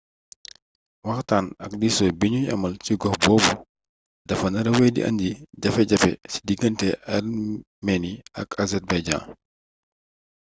waxtaan ak diisoo bi ñuy amal cig ox boobu dafa nara wéy di indi jafe-jafe ci diggante armenie ak azerbaïdjan